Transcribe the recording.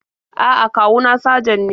A'a, kawu na sajan ne.